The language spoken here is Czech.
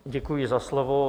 Děkuji za slovo.